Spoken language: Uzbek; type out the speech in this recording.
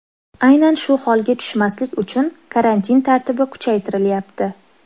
Aynan shu holga tushmaslik uchun karantin tartibi kuchaytirilyapti.